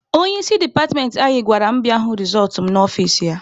Onye isi departmentị anyị gwara m bịa hụ rezọltụ m n'ọfici ya.